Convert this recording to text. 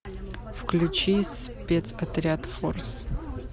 включи спецотряд форс